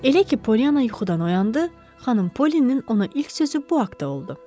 Elə ki, Polyana yuxudan oyandı, xanım Polinin ona ilk sözü bu haqta oldu.